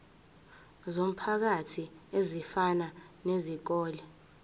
zomphakathi ezifana nezikole